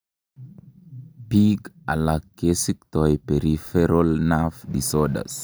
biik alak kesiktoi peripheral nerve disorders